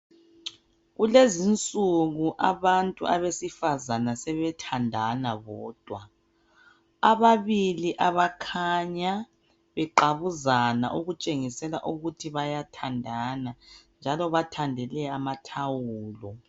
Kulezinsuku abantu abesifazana sebethandana bodwa ababili abakhanya beqabuzana okutshengisela ukuthi bayathandana njalo bathandele amathawulo.